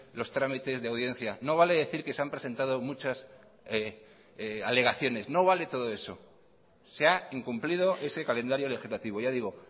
los trámites de audiencia no vale decir que se han presentado muchas alegaciones no vale todo eso se ha incumplido ese calendario legislativo ya digo